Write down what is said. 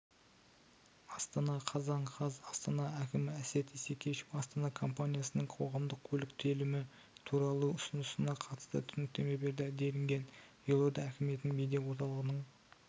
астана қазан қаз астана әкімі әсет исекешев астана компаниясының қоғамдық көлік төлемі туралы ұсынысына қатысты түсініктеме берді делінген елорда әкімдігінің медиаорталығының